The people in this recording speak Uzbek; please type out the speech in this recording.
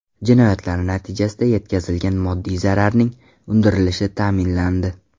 Jinoyatlar natijasida yetkazilgan moddiy zararning undirilishi ta’minlandi.